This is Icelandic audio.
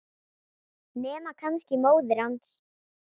Nema kannski móðir hans.